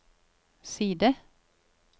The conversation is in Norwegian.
side